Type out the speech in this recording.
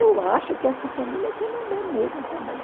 Eu acho que essa família é Tremembé mesmo também.